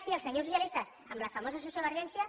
sí els senyors socialistes amb la famosa sociovergència